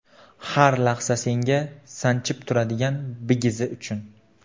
Har lahza senga Sanchib turadigan bigizi uchun.